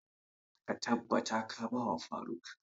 Ka tabbata ka ba wa faruk!